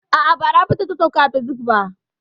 A'a, ba Rabi ce ta sauka a facebook ba.